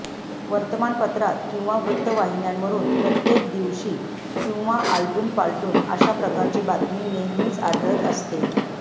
वर्तमानपत्रात किंवा वृत्तवाहिन्यांवरून प्रत्येक दिवशी किंवा आलटून पालटून अशा प्रकारची बातमी नेहमीच आढळत असते